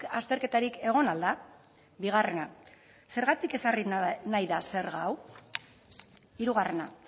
azterketarik egon al da bigarrena zergatik ezarri nahi da zerga hau hirugarrena